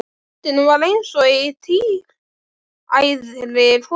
Röddin var eins og í tíræðri konu.